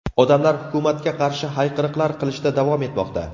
Odamlar hukumatga qarshi hayqiriqlar qilishda davom etmoqda.